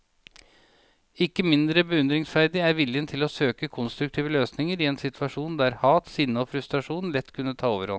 Ikke mindre beundringsverdig er viljen til å søke konstruktive løsninger i en situasjon der hat, sinne og frustrasjon lett kunne ta overhånd.